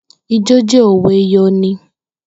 Ijo je o we yon i.